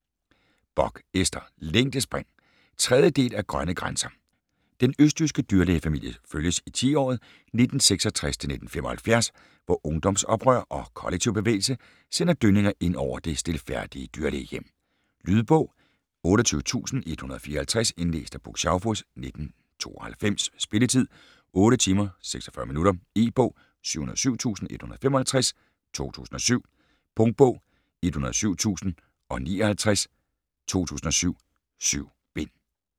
Bock, Ester: Længdespring 3. del af Grønne grænser. Den østjyske dyrlægefamilie følges i tiåret 1966-1975, hvor ungdomsoprør og kollektivbevægelse sender dønninger ind over det stilfærdige dyrlægehjem. Lydbog 28154 Indlæst af Puk Schaufuss, 1992. Spilletid: 8 timer, 46 minutter. E-bog 707155 2007. Punktbog 107059 2007. 7 bind.